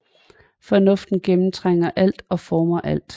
Fornuften gennemtrænger alt og former alt